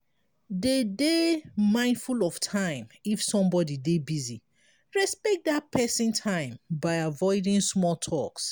dey dey mindful of time if somebody dey busy respect dat person time by avoiding small talks